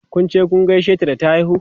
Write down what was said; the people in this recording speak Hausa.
Kun je kun gaishe ta da ta haihu?